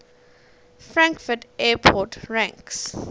frankfurt airport ranks